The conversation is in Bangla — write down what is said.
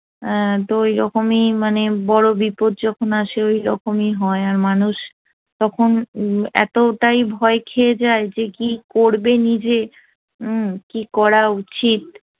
অ্যা তো ওইরকমই মানে বড় বিপদ যখন আসে ওই রকমই হয় আর মানুষ তখন এতটাই ভয় খেয়ে যায় যায় যে কি করবে হম কি করা উচিত